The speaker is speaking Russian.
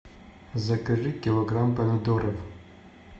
закажи килограмм помидоров